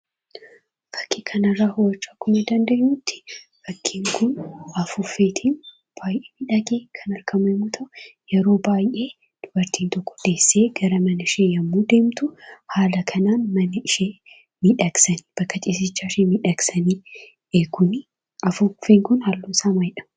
Akka kanarraa hubachuun danda'amutti fakkiin kun afuuffeetiin baay'ee miidhagee kan argamu yemmoo ta'u, yeroo baay'ee dubartiin tokko deessee gara manashee yogguu deemtu, haala kanaan mana ishee miidhagsanii bakka ciisichaa ishee miidhagsanii eegu. Afuuffeen kun halluun isaa maalidha?